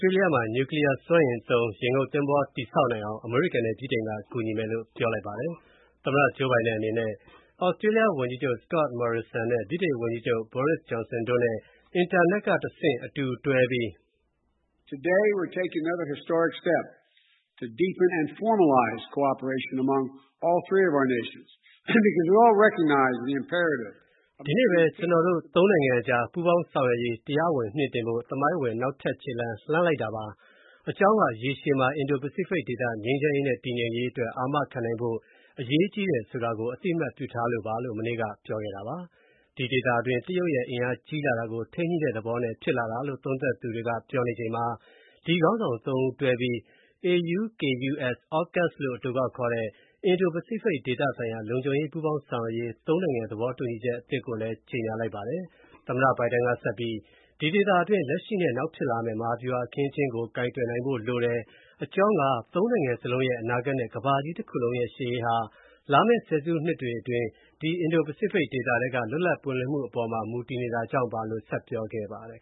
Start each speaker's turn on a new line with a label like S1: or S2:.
S1: တေးလျမှာ နျူကလီးယားစွမ်းအင်သုံး ရေငုပ်သင်္ဘောဆောက်နိုင်အောင် အမေရိကန်နဲ့ ဗြိတိန်က ကူညီမယ်လို့ အမေရိကန်သမ္မတက ပြောလိုက်ပါတယ်။ သမ္မတ Joe Biden အနေနဲ့ သြစတြေးလျ ဝန်ကြီးချုပ် Scott Morrison ၊ ဗြိတိန်ဝန်ကြီးချုပ် Boris Johnson တို့နဲ့ အွန်လိုင်းမှာ တွေ့ဆုံဆွေးနွေးပြီ
S2: းတဲ့နောက် သူကပြောဆိုရာမှာ “ဒီနေ့ပဲ ကျ
S1: ွန်တော်တို့ သုံးနိုင်ငံအကြား ပူးပေါင်းဆောင်ရွက်ရေး တရားဝင်မြှင့်တင်ဖို့ သမိုင်းဝင်နောက်ထပ်ခြေလှမ်း လှမ်းလိုက်တာပါ။ အကြောင်းက ရေရှည်မှာ အင်ဒို-ပစိဖိတ်ဒေသ ငြိမ်းချမ်းရေးနဲ့ တည်ငြိမ်းရေးအတွက် အာမခံနိုင်ဖို့ အရေးကြီးတယ်ဆိုတာကို အသိအမှတ်ပြုထားလို့ပါ" လို့ မနေ့က ပြောခဲ့တာပါ။ ဒီဒေသတွင်း တရုတ်အင်အားကြီးလာတာကို ထိန်းညှိုတဲ့သဘောနဲ့ဖြစ်လာတာလို့ သုံးသပ်သူတွေပြောနေချိန်မှာ ဒီခေါင်းဆောင် သုံးဦး တွဲပြီး AUKUS လို့ အတိုကောက်ခေါ်တဲ့ အင်ဒို-ပစိဖိတ်ဒေသဆိုင်ရာ လုံခြုံရေးပူးပေါင်းဆောင်ရွက်ရေး သုံးနိုင်ငံ သဘောတူညီချက်အသစ်ကိုလည်း ကြေညာလိုက်ပါတယ်။ သမ္မတ Biden က ဆက်ပြီး ဒီဒေသတွင်း လက်ရှိနဲ့နောက်ဖြစ်လာမဲ့ မဟာဗျူဟာအခင်းအကျင်းကို ကိုင်တွယ်နိုင်ဖို့လိုတယ်၊ အကြောင်းက သုံးနိုင်ငံစလုံးရဲ့ အနာဂတ်နဲ့ ကမ္ဘာကြီးတခုလုံးရဲ့ ရှေ့ရေးဟာ လာမယ့်ဆယ်စုနှစ်တွေအတွင်း၊ ဒီ အင်ဒို-ပစိဖိတ်ဒေသထဲ လွတ်လပ်ပွင့်လင်းမူအပေါ်မူတည်နေတာကြောင့်ပါလို့ ဆက်ပြောခဲ့ပါတယ်